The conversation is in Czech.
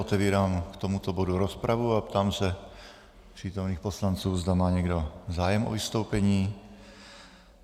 Otevírám k tomuto bodu rozpravu a ptám se přítomných poslanců, zda má někdo zájem o vystoupení.